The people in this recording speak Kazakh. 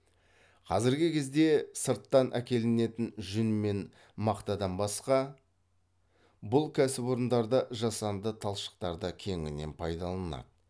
қазіргі кезде сырттан әкелінетін жүн мен мақтадан басқа бұл кәсіпорындарда жасанды талшықтар да кеңінен пайдаланылады